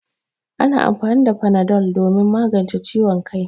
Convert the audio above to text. Ana amfani da fanadol domin magance ciwon kai.